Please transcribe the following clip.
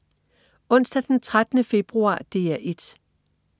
Onsdag den 13. februar - DR 1: